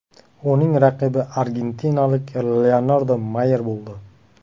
Uning raqibi argentinalik Leonardo Mayer bo‘ldi.